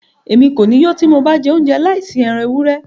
Émi ko ni yó ti mo ba jẹ ounjẹ laisi ẹran ewurẹ